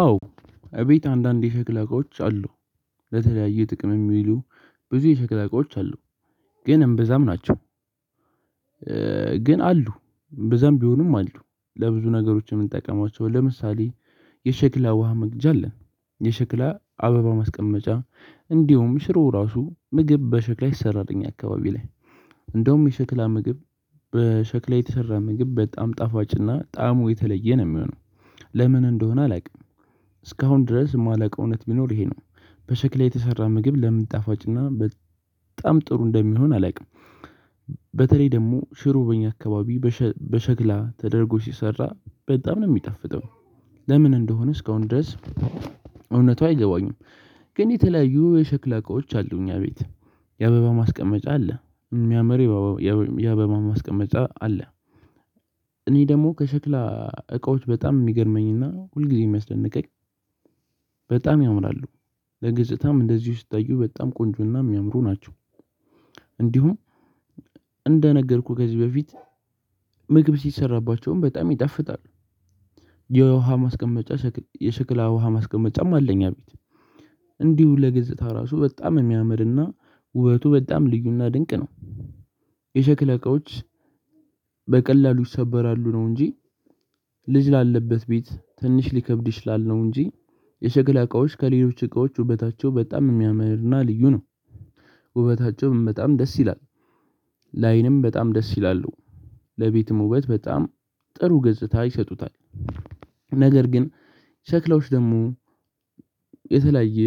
አዎ እቤት አንዳንድ የሸክላ እቃዎች አሉ። ለተለያየ ጥቅም የሚውሉ ብዙ የሸክላ እቃዎች አሉ። ግን እምብዛም ናቸው። ግን አሉ እምብዛም ቢሆኑም አሉ። ለብዙ ነገሮች የምንጠቀማቸው ለምሳሌ የሸክላ ውሃ መቅጃ አለን። የሸክላ አበባ ማስቀመጫ እንዲሁም ሽሮ ራሱ ምግብ በሸክላ ይሰራል እኛ አካባቢ ላይ። እንደውም የሸክላ ምግብ በሸክላ የተሰራ ምግብ በጣም ጣፋጭና ጣዕሙ የተለየ ነው የሚሆነው። ለምን እንደሆነ አላውቅም። እስካሁን ድረስ የማላውቀው እውነት ቢኖር ይሄ ነው በሸክላ የተሰራ ምግብ ለምን ጣፋጭና በጣም ጥሩ እንደሚሆን አላውቅም። በተለይ ደግሞ ሽሮ በኛ አካባቢ በሸክላ ተደርጎ ሲሰራ በጣም ነው የሚጣፍጠው። ለምን እንደሆነ እስካሁን ድረስ እውነቱ አይገባኝም። ግን የተለያዩ የሸክላ እቃዎች አሉ እኛ ቤት የአበባ ማስቀመጫ አለ። እሚያምር የአበባ ማስቀመጫ አለ። እኔ ደግሞ ከሸክላ እቃዎች በጣም የሚገርመኝና ሁል ጊዜ የሚያስደንቀኝ በጣም ያምራሉ። ለገፅታም እንደዚሁ ሲታዩ በጣም ቆንጆና እሚያምሩ ናቸው። እንዲሁም እንደነገርኩህ ከዚህ በፊት ምግብ ሲሰራባቸውም በጣም ይጣፍጣል። የውሃ ማስቀመጫ የሽክላ ውሃ ማስቀመጫም አለ እኛ ቤት። እንዲሁ ለገፅታ ራሱ በጣም የሚያምርና ውበቱ በጣም ልዩና ድንቅ ነው። የሸክላ እቃዎች በቀላሉ ይሰበራሉ ነው እንጂ። ልጅ ላለበት ቤት ትንሽ ሊከብድ ይችላል ነው እንጂ። የሸክላ እቃዎች ከሌሎች እቃዎች ውበታቸው በጣም እሚያምርና ልዩ ነው። ውበታቸውም በጣም ደስ ይላል። ለአይንም በጣም ደስ ይላሉ። ለቤትም ውበት በጣም ጥሩ ገጽታ ይሰጡታል። ነገር ግን ሸክላዎች ደግሞ የተለያየ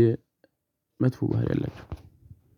መጥፎ ባህሪ አላቸው።